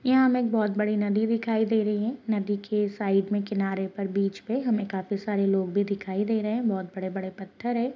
यहा हमें बहौत बड़ी नदी दिखाई दे रही है नदी के साइड में किनारे पर बीच पे हमे काफी सारे लोग भी दिखाई दे रहे हैं बहुत बड़े-बड़े पत्थर हैं।